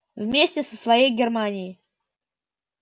вместе со всей германией